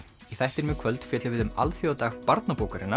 í þættinum í kvöld fjöllum við um alþjóðadag